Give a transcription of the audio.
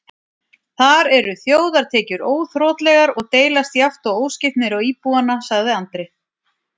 Þar eru þjóðartekjur óþrotlegar og deilast jafnt og óskipt niður á íbúana, sagði Andri.